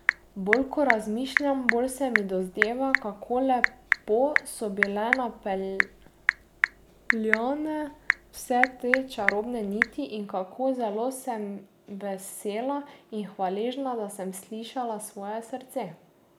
Bolj, ko razmišljam, bolj se mi dozdeva, kako lepo so bile napeljane vse te čarobne niti, in kako zelo sem vesela in hvaležna, da sem slišala svoje srce.